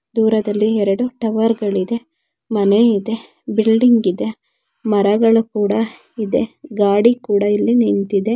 ದೂರದಲ್ಲಿ ಎರಡು ಟವರ್ ಗಳು ಮನೆ ಇದೆ. ಬಿಲ್ಡಿಂಗ್ ಇದೆ ಮರಗಳು ಕೂಡ ಇದೆ ಗಾಡಿ ಕೂಡ ಇಲ್ಲಿ ನಿಂತಿದೆ.